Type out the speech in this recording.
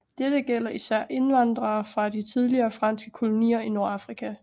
Dette gælder især indvandrere fra de tidligere franske kolonier i Nordafrika